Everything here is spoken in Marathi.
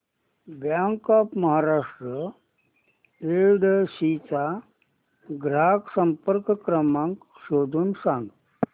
बँक ऑफ महाराष्ट्र येडशी चा ग्राहक संपर्क क्रमांक शोधून सांग